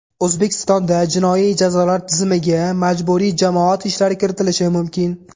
O‘zbekistonda jinoiy jazolar tizimiga majburiy jamoat ishlari kiritilishi mumkin.